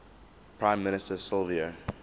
prime minister silvio